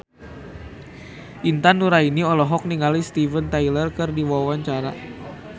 Intan Nuraini olohok ningali Steven Tyler keur diwawancara